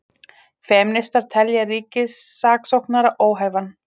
Femínistar telja ríkissaksóknara óhæfan